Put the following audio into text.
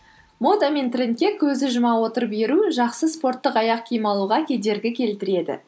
мода мен трендке көзді жұма отырып еру жақсы спорттық аяқ киім алуға кедергі келтіреді